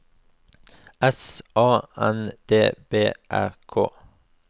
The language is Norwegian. S A N D B Æ K